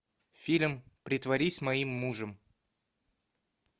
фильм притворись моим мужем